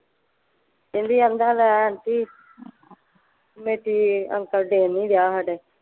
ਕਹਿੰਦੀ ਆਂਦਾ ਲੈ ਆਂਟੀ ਅੰਕਲ ਦੇਣ ਨਹੀਂ ਦਿਆਂ ਸਾਡੇ।